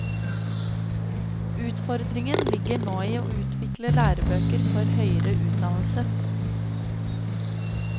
Utfordringen ligger nå i å utvikle lærebøker for høyere utdannelse.